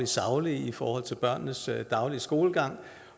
saglige i forhold til børnenes daglige skolegang